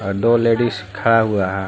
और दो लेडिस खड़ा हुआ है।